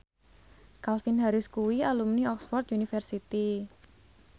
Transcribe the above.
Calvin Harris kuwi alumni Oxford university